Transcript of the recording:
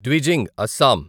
డ్విజింగ్ Assam